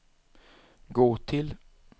gå till